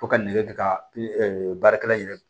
Ko ka nɛgɛ kɛ ka baarakɛla in yɛrɛ